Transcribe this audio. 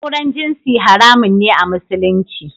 Auren jinsi haramun ne a Musulunci